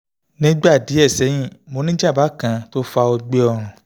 nígbà díẹ̀ sẹ́yìn mo ní jàǹbá kan tó fa ọgbẹ́ ọrùn